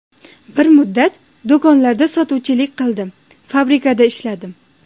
Bir muddat do‘konlarda sotuvchilik qildim, fabrikada ishladim.